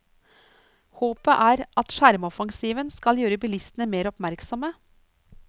Håpet er at sjarmoffensiven skal gjøre bilistene mer oppmerksomme.